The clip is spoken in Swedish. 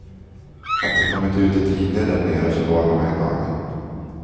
Att det kommit ut i tidningarna därnere förvånar mig en aning.